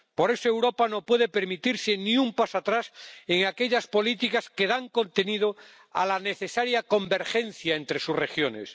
Por eso Europa no puede permitirse ni un paso atrás en aquellas políticas que dan contenido a la necesaria convergencia entre sus regiones.